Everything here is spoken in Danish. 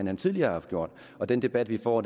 han tidligere har gjort og den debat vi får